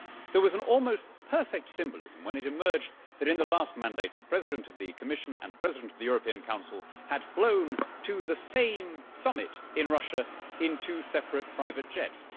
There was an almost perfect symbolism when it emerged that, in the last mandate, the President of the Commission and President of the European Council had flown to the same summit in Russia in two separate private jets.